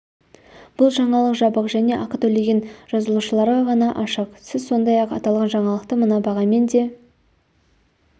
бұл жаңалық жабық және ақы төлеген жазылушыларға ғана ашық сіз сондай-ақ аталған жаңалықты мына бағамен де